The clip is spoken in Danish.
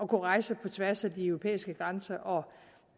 kunne rejse på tværs af de europæiske grænser og